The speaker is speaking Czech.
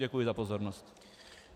Děkuji za pozornost.